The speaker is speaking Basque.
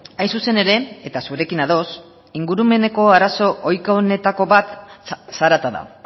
hain zuzen ere eta zurekin ados ingurumeneko arazo ohiko honetako bat zarata da